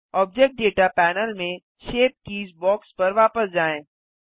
object data panel में shape keys box पर वापस जाएँ